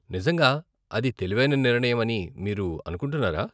నిజంగా అది తెలివైన నిర్ణయం అని మీరు అనుకుంటున్నారా?